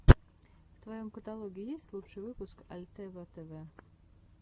в твоем каталоге есть лучший выпуск альтева тэвэ